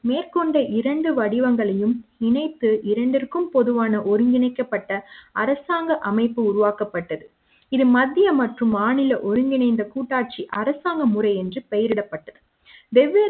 மேற்கொண்டு இரண்டு வடிவங்களையும் இணைத்து இரண்டிற்கும் பொதுவான ஒருங்கிணைக்கப்பட்ட அரசாங்க அமைப்பு உருவாக்கப்பட்டது இது மத்திய மற்றும் மாநில ஒருங்கிணைந்த கூட்டாட்சி அரசாங்க முறை என்று பெயரிடப்பட்டது வெவ்வேறு